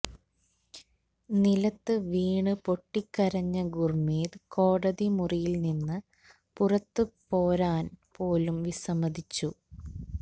നിലത്ത് വീണ് പൊട്ടിക്കരഞ്ഞ ഗുര്മീത് കോടതി മുറിയില് നിന്ന് പുറത്ത് പോരാന് പോലും വിസമ്മതിച്ചു